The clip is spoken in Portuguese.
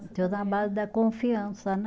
Na base da confiança, né?